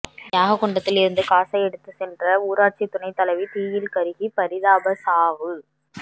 யாக குண்டத்தில் இருந்து காசை எடுத்து சென்ற ஊராட்சி துணைத்தலைவி தீயில் கருகி பரிதாப சாவு